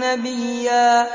نَّبِيًّا